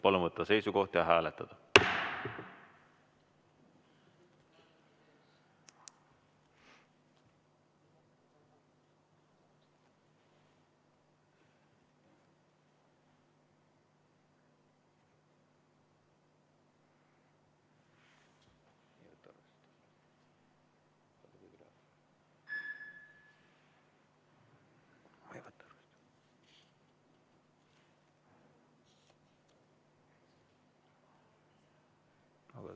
Palun võtta seisukoht ja hääletada!